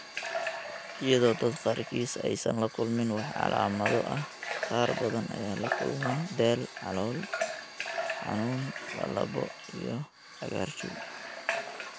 Iyadoo dadka qaarkiis aysan la kulmin wax calaamado ah, qaar badan ayaa la kulma daal, calool xanuun, lallabbo, iyo cagaarshow.